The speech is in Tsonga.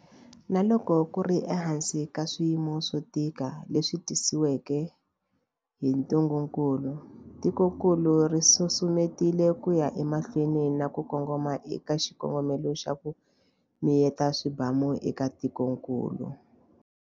Na loko ku ri ehansi ka swiyimo swo tika leswi tisiweke hi ntungukulu, tikokulu ri susumetile ku ya emahlweni na ku kongoma eka xikongomelo xa, ku miyeta swibamu eka tikokulu.